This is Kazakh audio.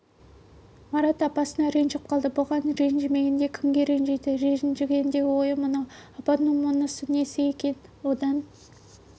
марат апасына ренжіп қалды бұған ренжімегенде кімге ренжиді ренжігендегі ойы мынау апамның мұнысы несі екен одан